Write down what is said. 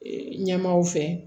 Ee ɲɛmaaw fɛ